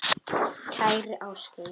Kæri Ásgeir.